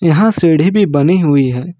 यहां सीढ़ी भी बनी हुई है।